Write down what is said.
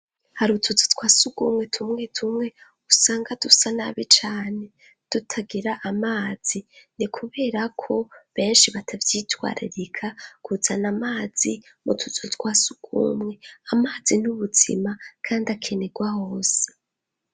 Hari utuzu twa surwumwe tumwe tumwe usanga dusa nabi cane tutagira amazi. Ni kuberako benshi batavyitwaririka, kuzana amazi mu tuzu twa surwumwe. Amazi ni ubuzima , kandi akenerwwa hose.